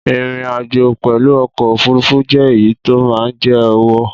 Ìrìn àjò pẹlu ọkọ òfurufú jẹ èyí tí o ma jẹ owó